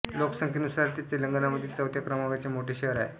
लोकसंख्येनुसार ते तेलंगणामधील चौथ्या क्रमांकाचे मोठे शहर आहे